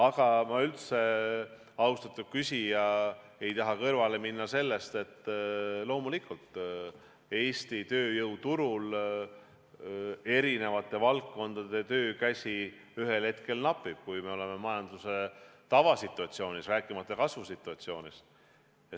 Aga ma üldse, austatud küsija, ei taha kõrvale minna sellest, et loomulikult Eesti tööjõuturul eri valdkondades töökäsi ühel hetkel napib, kui me oleme majanduse tavasituatsioonis, rääkimata kasvusituatsioonist.